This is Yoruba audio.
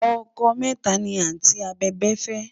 ọkọ méta ní anti abèbè fé